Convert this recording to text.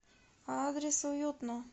адрес уютно